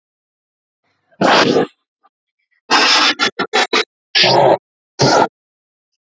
Ég hef ævinlega viðurkenndi hann, hallast nokkuð að sundurgerð